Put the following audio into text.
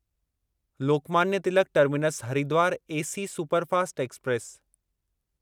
Lokmanya Tilak terminus Haridwar AC superfast express